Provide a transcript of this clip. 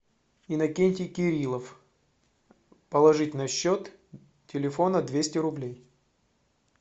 иннокентий кирилов положить на счет телефона двести рублей